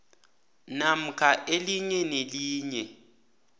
namkha elinye nelinye